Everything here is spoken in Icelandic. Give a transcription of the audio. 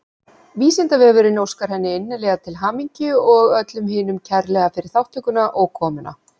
Vísindavefurinn óskar henni innilega til hamingju og öllum hinum kærlega fyrir þátttökuna og komuna.